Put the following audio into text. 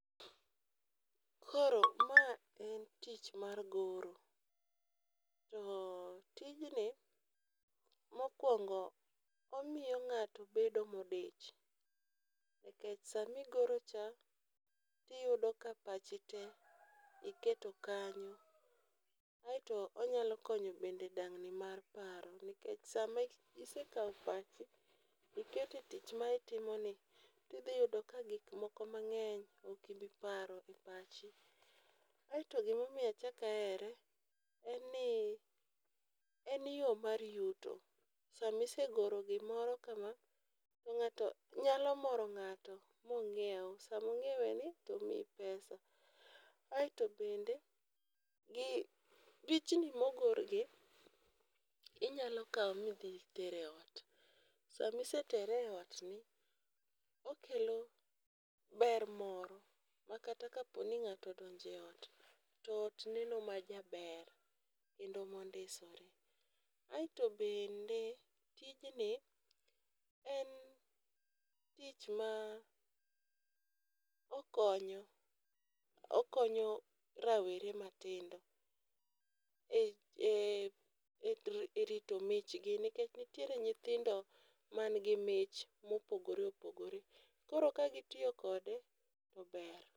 Koro ma en tich mar goro. To tijni mokwongo, omiyo ng'ato bedo modich nikech sami goro cha tiyudo ka pachi te iketo kanyo . Aeto onyalo konyo bende dang'ni mar paro nikech sami se kawo pachi ikete tich ma itimo ni tidhi yudo ka gik moko mang'eny okibi paro e pachi. Asto gimomiyo achak ahere en ni en yo mar yuto. Sami se goro gimoro kama to ng'ato nyalo moro ng'ato mong'iew samo ng'iewe ni omiyi pesa. Aeto bende gi pichni mogor gi inyalo kawo midhi ter e ot .Samisetere e ot ni okelo ber moro makata kaponi ng'ato odonje ot to ot neno ma jaber kendo mondisore. Aeto bende tijni en tich ma okonyo okonyo rawere matindo e e e e rito michgi nikech nitiere nyithindo man gi mich mopogore opogore , koro ka gitiyo kode to ber.